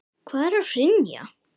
Hvað er að hrynja?